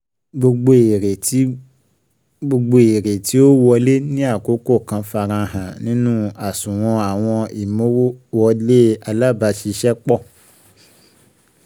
Gbogbo èrè tí Gbogbo èrè tí ó wọlé ní àkókò kan farahan nínú àṣùwọ̀n àwọn ìmowòwọlé alábàáṣiṣẹ́pọ̀